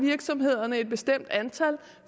virksomhederne et bestemt antal